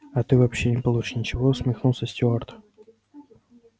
а ты вообще не получишь ничего усмехнулся стюарт